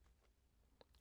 DR2